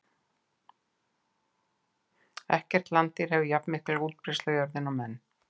Ekkert landdýr hefur jafnmikla útbreiðslu á jörðinni og menn.